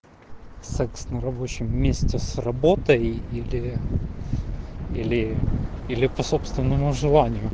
секс на рабочем месте с работой или или или по собственному желанию